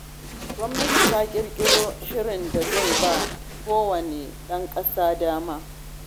Gwamnati ta ƙirƙiro shirin da zai ba wa kowane ɗan ƙasa dama.